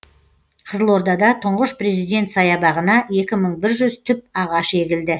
қызылордада тұңғыш президент саябағына екі мың бір жүз түп ағаш егілді